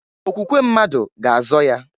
Okwukwe mmadu ga azọ ya.